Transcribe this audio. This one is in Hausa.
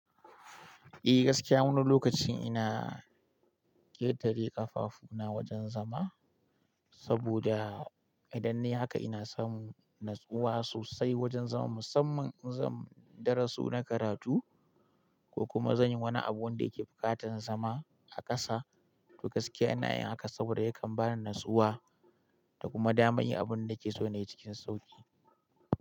Eh, gaskiya wani lokacin ina ƙetare ƙafafuna wajen zama saboda idan nayi haka ina samun natsuwa sosai wajen zama musamman in zan darasu na karatu ko kuma zan yi wani abu wanda yake buƙatar zama a ƙasa. To gaskiya ina yin haka saboda yakan bani natsuwa da kuma dama in yi abin da nake so na yi cikin sauƙi.